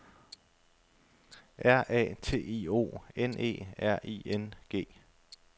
R A T I O N E R I N G